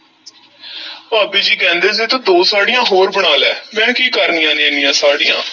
ਭਾਬੀ ਜੀ ਕਹਿੰਦੇ ਸੀ ਤੂੰ ਦੋ ਸਾੜ੍ਹੀਆਂ ਹੋਰ ਬਣਾ ਲੈ, ਮੈਂ ਕੀ ਕਰਨੀਆਂ ਨੇ, ਐਨੀਆਂ ਸਾੜ੍ਹੀਆਂ।